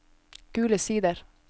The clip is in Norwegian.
Gule Sider